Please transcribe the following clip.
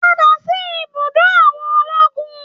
Padà sí ibùdó àwọn ológun